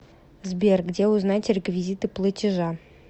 сбер где узнать реквизиты платежа